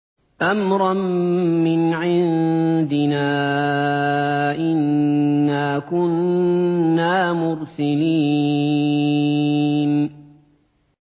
أَمْرًا مِّنْ عِندِنَا ۚ إِنَّا كُنَّا مُرْسِلِينَ